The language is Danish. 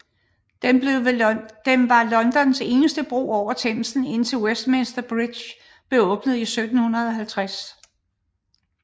Den var Londons eneste bro over Themsen indtil Westminster Bridge blev åbnet i 1750